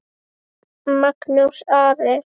Magnús Ari.